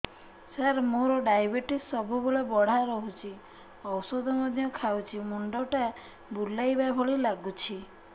ସାର ମୋର ଡାଏବେଟିସ ସବୁବେଳ ବଢ଼ା ରହୁଛି ଔଷଧ ମଧ୍ୟ ଖାଉଛି ମୁଣ୍ଡ ଟା ବୁଲାଇବା ଭଳି ଲାଗୁଛି